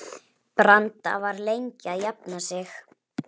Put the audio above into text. Eggþór, hvað er á dagatalinu mínu í dag?